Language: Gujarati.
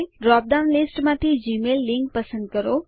ડ્રોપ ડાઉન લીસ્ટ માંથી જીમેઇલ લીંક પસંદ કરો